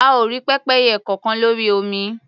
A ò rí pẹ́pẹ́yẹ kọkan lórí omi.